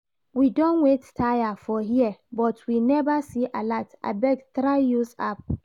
We don wait tire for here but we never see alert, abeg try use app